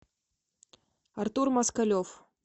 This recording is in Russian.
артур москалев